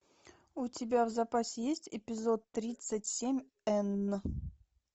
у тебя в запасе есть эпизод тридцать семь н